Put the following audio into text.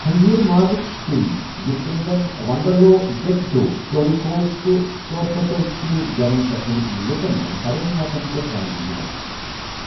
خنزیر مازُک سیُوٚن یتھ کٔنۍ زن ونڈالو، زیکوٹی، چوریکو، تہٕ سورپوٹیل چھِ گون کیتھولِکَن منٛز بڑٮ۪ن موقعن پٮ۪ٹھ رننہٕ یِوان۔